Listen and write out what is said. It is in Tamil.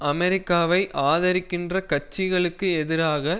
அமெரிக்காவை ஆதிரிக்கின்ற கட்சிகளுக்கு எதிராக